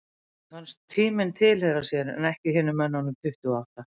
Þeim fannst tíminn tilheyra sér en ekki hinum mönnunum tuttugu og átta.